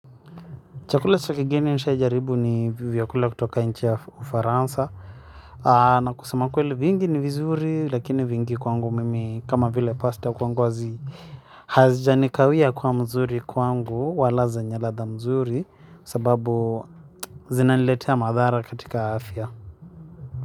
Chakula cha kigeni nishajaribu ni vyakula kutoka nchi ya ufaransa. Na kusema kweli vingi ni vizuri lakini vingi kwangu mimi kama vile pasta kwangu wazi. Hazijanikawia kuwa mzuri kwangu wala zenye radha nzuri sababu zinaniletea madhara katika afya.